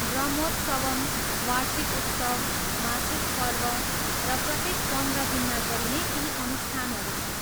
ब्रह्मोत्सवम्, वार्षिक उत्सव, मासिक पर्व र प्रत्येक पन्ध्र दिनमा गरिने केही अनुष्ठानहरू छन्।